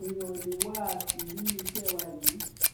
èèyàn ò lè wá a tì nínú iṣẹ wa yìí